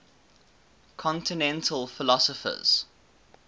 continental philosophers